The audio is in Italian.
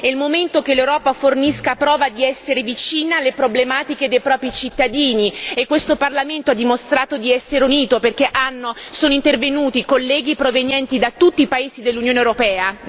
È il momento che l'Europa fornisca prova di essere vicina alle problematiche dei propri cittadini e questo Parlamento ha dimostrato di essere unito perché sono intervenuti colleghi provenienti da tutti i paesi dell'Unione europea.